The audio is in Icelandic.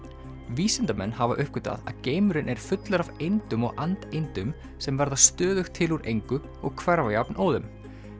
vísindamenn hafa uppgötvað að geimurinn er fullur af eindum og and sem verða stöðugt til úr engu og hverfa jafnóðum